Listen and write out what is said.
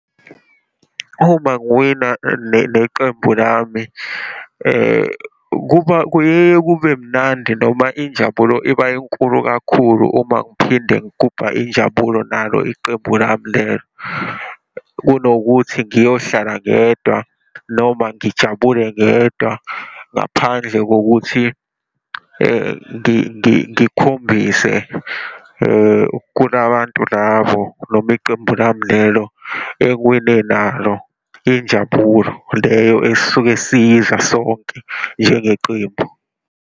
Uma ngiwina neqembu lami, kuba kuyeye kube mnandi noma injabulo iba inkulu kakhulu uma ngiphinde ngigubha injabulo nalo iqembu lami lelo. Kunokuthi ngiyohlala ngedwa, noma ngijabule ngedwa ngaphandle kokuthi ngikhombise kula bantu labo noma iqembu lami lelo engiwine nalo injabulo leyo esisuke siyidla sonke, njengeqembu.